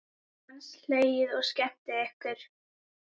Dansað, hlegið og skemmt ykkur.